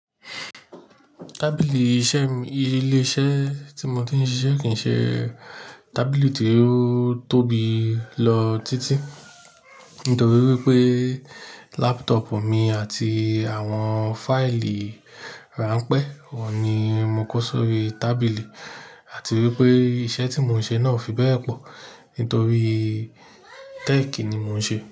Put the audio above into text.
Tábìlì iṣẹ́ ilé iṣẹ́ tí mo ti ń ṣiṣẹ́ kì í ṣe tábìlì tí ó tóbi lọ títí. Nítorí wípé laptop mi àti àwọn fáìlì ránpẹ́ òní ni mo kó sórí tábìlì àti wípé iṣẹ́ tí mò ń ṣe náà fi bẹ́ẹ̀ pọ̀. Nítorí tẹ́ẹ̀kì ni mò ń ṣe.